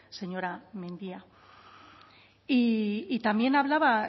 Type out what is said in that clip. señora mendia y también hablaba